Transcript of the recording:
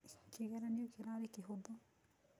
Kĩgeranĩo kĩrarĩ kĩhũthũ.